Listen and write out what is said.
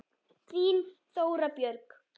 Þín, Þóra Björg.